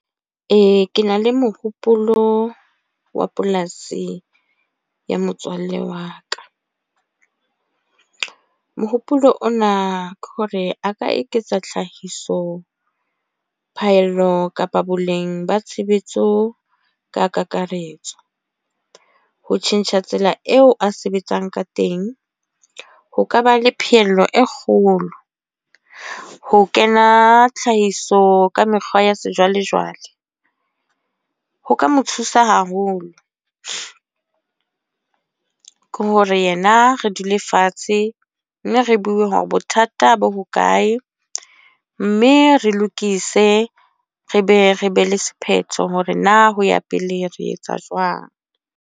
Ee, ke na le mohopolo wa polasi ya motswalle wa ka. Mohopolo ona ke hore a ka eketsa tlhahiso, phaello kapa boleng ba tshebetso ka kakaretso. Ho tjhentjha tsela eo a sebetsang ka teng, ho kaba le pheello e kgolo. Ho kena tlhahiso ka mekgwa ya sejwalejwale. Ho ka mo thusa haholo. Ke hore yena re dula le fatshe, mme re bueng hore bothata bo hokae. Mme re lokise re be re be le sephetho, hore na ho ya pele re etsa jwang.